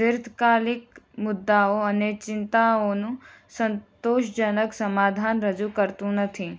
દીર્ઘકાલિક મુદ્દાઓ અને ચિંતાઓનું સંતોષજનક સમાધાન રજૂ કરતું નથી